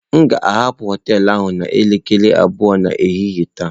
M ga-ahapụ hoteelu ahụ n'elekere abụọ nke ehihie taa.